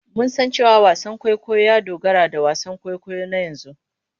Mun san cewa wasan kwaikwayo ya dogara da wasan kwaikwayo na yanzu.